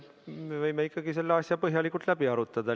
Me võime ikkagi selle asja põhjalikult läbi arutada.